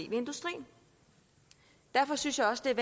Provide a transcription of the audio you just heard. ved industrien derfor synes jeg også